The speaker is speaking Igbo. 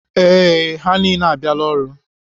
Ee, ha niile abịala ọrụ.